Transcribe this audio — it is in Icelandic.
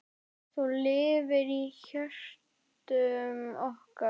Þú lifir í hjörtum okkar.